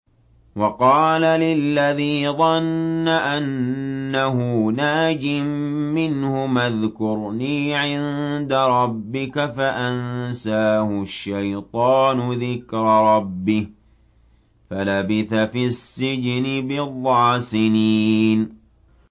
وَقَالَ لِلَّذِي ظَنَّ أَنَّهُ نَاجٍ مِّنْهُمَا اذْكُرْنِي عِندَ رَبِّكَ فَأَنسَاهُ الشَّيْطَانُ ذِكْرَ رَبِّهِ فَلَبِثَ فِي السِّجْنِ بِضْعَ سِنِينَ